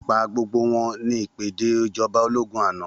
Pa gbogbo wọn, ni ìpèdè ìjọba ológún àná.